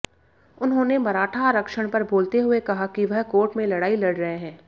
उन्होंने मराठा आरक्षण पर बोलते हुए कहा कि वह कोर्ट में लड़ाई लड़ रहे हैं